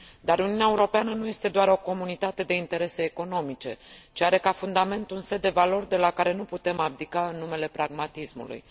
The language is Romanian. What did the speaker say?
Dar Uniunea Europeană nu este doar o comunitate de interese economice, ci are ca fundament un set de valori de la care nu putem abdica în numele pragmatismului.